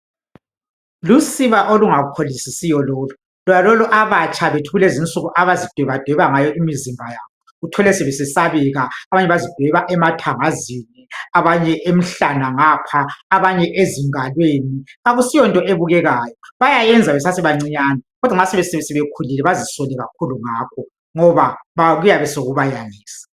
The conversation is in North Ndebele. lusiba olungapholisisiyo lolu, lonalolu abatsha bethu kulezinsuku abazidweba dweba ngayo imizimba yabo uthole sebesesabeka abanye bazidweba emathangazini abanye emhlane ngapho abanye ezingalweni akusiyonto ebukekayo bayakwenza besase bancanyane kodwa nxasebekhulile bazisole ngakho ngoba kuyabe sokubayangisa.